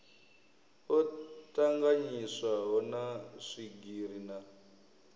o tanganyiswaho na swigiri na